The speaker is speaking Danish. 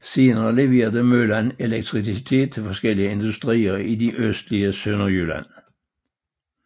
Senere leverede møllen elektricitet til forskellige industrier i det østlige Sønderjylland